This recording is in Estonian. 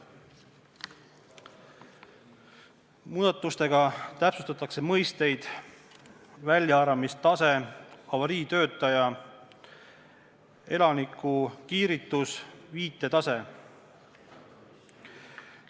Muudatustega täpsustatakse mõisteid "väljaarvamistase", "avariitöötaja", "elanikukiiritus", "viitetase".